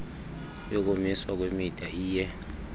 yokumiswa kwemida iye